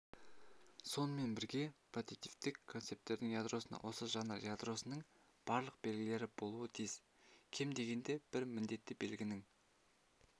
сонымен бірге прототиптік концепттің ядросында осы жанр ядросының барлық белгілері болуы тиіс кем дегенде бір міндетті белгінің